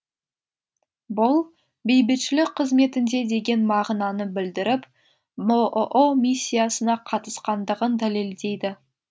бұл бейбітшілік қызметінде деген мағынаны білдіріп бұұ миссиясына қатысқандығын дәлелдейді